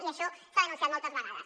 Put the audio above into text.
i això s’ha denunciat moltes vegades